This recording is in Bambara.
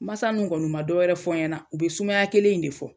Masa ninnu kɔni ma dɔ wɛrɛ fɔ n ye na, u bɛ sumaya kelen in de fɔ.